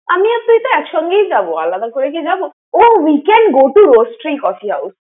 আমি আর তুই ত একসঙ্গেই যাবো, আলাদা করে কি যাবো? ও we can go to Roastery coffee house ।